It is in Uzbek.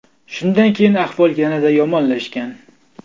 Shundan keyin ahvol yanada yomonlashgan.